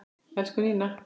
Elsku Nína.